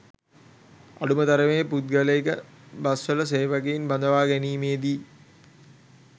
අඩුම තරමේ පුද්ගලික බස්වල සේවකයන් බඳවා ගැනීමේදි